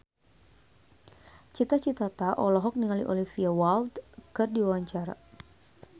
Cita Citata olohok ningali Olivia Wilde keur diwawancara